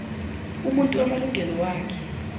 umuntu amalungelo wakhe